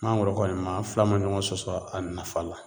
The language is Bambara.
Mangoro kɔni ma fila ma ɲɔgɔn sɔsɔ a nafa la